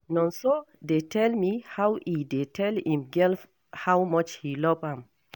Nonso dey tell me how he dey tell im girl how much he love am.